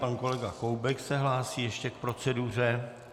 Pan kolega Koubek se hlásí ještě k proceduře.